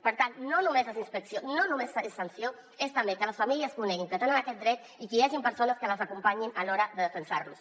per tant no només les inspeccions no només és sanció és també que les famílies coneguin que tenen aquest dret i que hi hagin persones que les acompanyin a l’hora de defensar lo